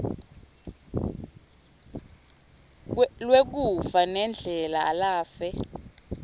lwekufa nendlela lafe